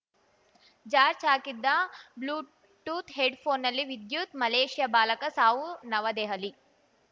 charge ಹಾಕಿದ್ದ Bluetooth ಹೆಡ್‌ಫೋನ್‌ನಲ್ಲಿ ವಿದ್ಯುತ್‌ ಮಲೇಷ್ಯಾ ಬಾಲಕ ಸಾವು ನವದೆಹಲಿ